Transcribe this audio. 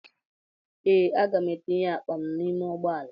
Ee, aga m etinye akpa m n'ime ụgbọala.